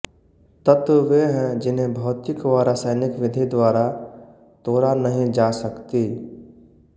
तत्व वे हैै जिन्हे भौतिक व रासियनिक विधि द्वारा तोडा नही जा सकती